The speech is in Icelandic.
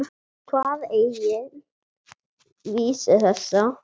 Þá kvað Egill vísu þessa: